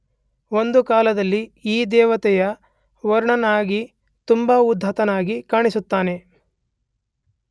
ಒಂದು ಕಾಲದಲ್ಲಿ ಈ ದೇವತೆ ವರುಣನಾಗಿ ತುಂಬ ಉದಾತ್ತನಾಗಿ ಕಾಣಿಸುತ್ತಾನೆ.